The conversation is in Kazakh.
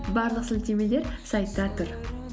барлық сілтемелер сайтта тұр